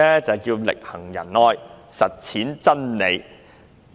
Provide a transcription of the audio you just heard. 便是"力行仁愛實踐真理"。